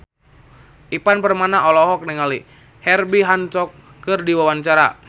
Ivan Permana olohok ningali Herbie Hancock keur diwawancara